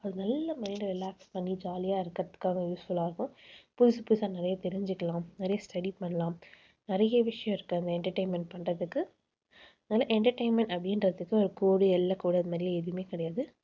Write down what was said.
அது நல்ல mind அ relax பண்ணி jolly ஆ இருக்கிறதுக்காக useful ஆ இருக்கும். புதுசு புதுசா நிறைய தெரிஞ்சுக்கலாம். நிறைய study பண்ணலாம். நிறைய விஷயம் இருக்கு, அங்க entertainment பண்றதுக்கு. அதனால entertainment அப்படின்றதுக்கு ஒரு கோடு எல்லைக்கோடு அந்த மாதிரி எதுவுமே கிடையாது